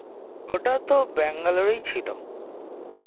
ওটা তো Bangalore এই ছিলো